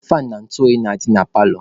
Faanụ na ntụ oyi na-adị na paalọ.